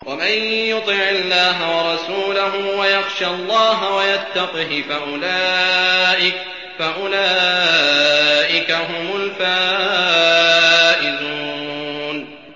وَمَن يُطِعِ اللَّهَ وَرَسُولَهُ وَيَخْشَ اللَّهَ وَيَتَّقْهِ فَأُولَٰئِكَ هُمُ الْفَائِزُونَ